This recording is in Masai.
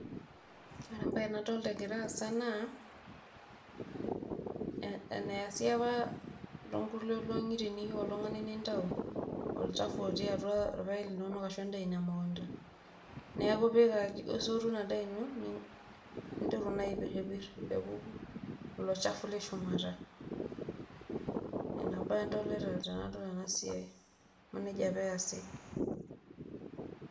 Ore embae nadolta egira aasa naa eneasi apa too nkulie olong'i teniyu oltung'ani nintau olchafu otii atua irpaek linonok arashu endaa ino e mukunda. Neeku isotu ina daa ino nintoki naa apiripir pee epuku ilo chafu le shumata. Nena baa adolita tenadol ena siai amu neija apa easi.